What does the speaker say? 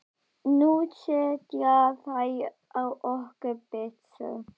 Nú setja þeir á okkur byssur!